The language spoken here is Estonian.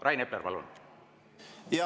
Rain Epler, palun!